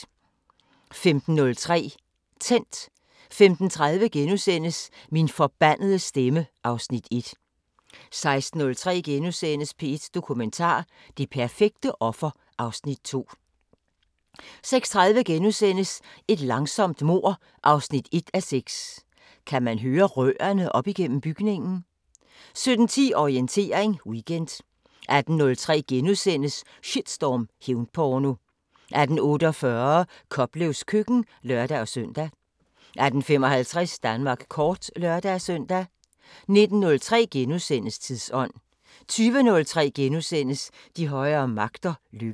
15:03: Tændt 15:30: Min forbandede stemme (Afs. 1)* 16:03: P1 Dokumentar: Det perfekte offer (Afs. 2)* 16:30: Et langsomt mord 1:6 – Kan man høre rørene op gennem bygningen? * 17:10: Orientering Weekend 18:03: Shitstorm: Hævnporno * 18:48: Koplevs køkken (lør-søn) 18:55: Danmark kort (lør-søn) 19:03: Tidsånd * 20:03: De højere magter: Lykke *